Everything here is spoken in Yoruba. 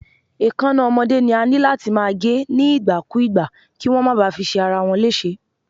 Èkáná ọmọdé ni a níláti máa gé ní ìgbà kú ìgbà, kíwón máa ba fi ṣe ara wọn léṣe.